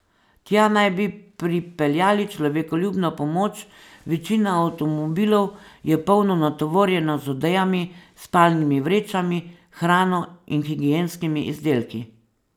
Tja naj bi pripeljali človekoljubno pomoč, večina avtomobilov je polno natovorjena z odejami, spalnimi vrečami, hrano in higienskimi izdelki.